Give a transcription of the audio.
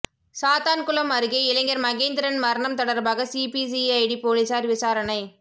சாத்தான்குளம் அருகே இளைஞர் மகேந்திரன் மரணம் தொடர்பாக சிபிசிஐடி போலீசார் விசாரணை